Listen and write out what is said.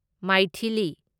Maithili